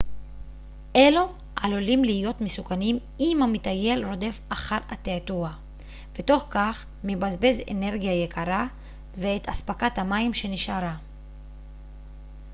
אלו עלולים להיות מסוכנים אם המטייל רודף אחר התעתוע ותוך כך מבזבז אנרגיה יקרה ואת אספקת המים שנשארה